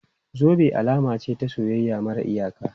Zube alama ce ta soyayya mara iyaka.